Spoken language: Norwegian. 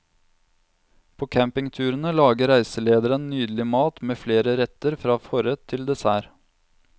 På campingturene lager reiselederen nydelig mat med flere retter fra forrett til dessert.